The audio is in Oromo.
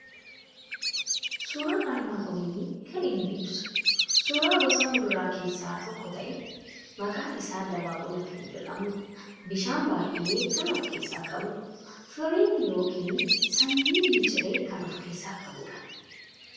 Suuraan armaan olii kan inni ibsu suuraa gosa muduraa keessaa tokko ta'e maqaan isaa dabaaqula kan jedhamu, bishaan baay'ee kan of keessaa qabu, firii yookiin sanyii miciree kan of keessaa qabudha.